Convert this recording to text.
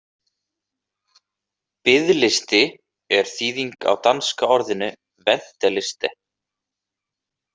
Biðlisti er þýðing á danska orðinu venteliste.